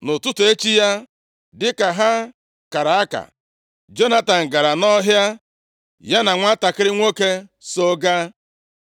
Nʼụtụtụ echi ya, dịka ha kara aka, Jonatan gara nʼọhịa, ya na nwantakịrị nwoke so gaa.